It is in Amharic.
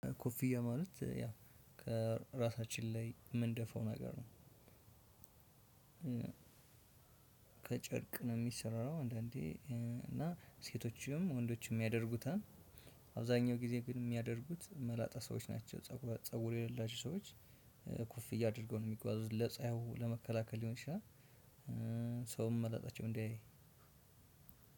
ኮፊያ ማለት ያ ከራሳችን ላይ ምን ደፋው ነገር ነው። ከጨርቅ ነው የሚሰራው አንዳንዴ እና ሴቶችም ወንዶችም ያደርጉታል። አብዛኛው ጊዜ ግን የሚያደርጉት መላጣ ሰዎች ናቸው። ፀጉር የሌላቸው ሰዎች። ኩፍያ አድርገው ነው የሚጓዙት ለጸሀዩ ለመከላከል ሊሆን ይችላል። ሰውም መላጣቸው እንዳያይ